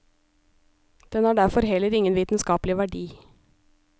Den har derfor heller ingen vitenskapelig verdi.